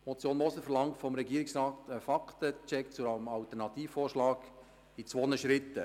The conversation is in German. Die Motion Moser verlangt vom Regierungsrat einen Fakten-Check zum Alternativvorschlag in zwei Schritten.